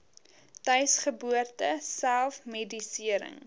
tuisgeboorte self medisering